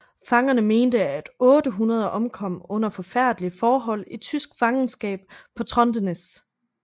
Fangerne mente at 800 omkom under forfærdelige forhold i tysk fangenskab på Trondenes